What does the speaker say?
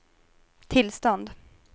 tillstånd